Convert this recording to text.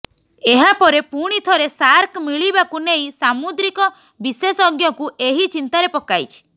ଏହା ପରେ ପୁଣି ଥରେ ସାର୍କ ମିଳିବାକୁ ନେଇ ସାମୁଦ୍ରିକ ବିଶେଷଜ୍ଞଙ୍କୁ ଏହା ଚିନ୍ତାରେ ପକାଇଛି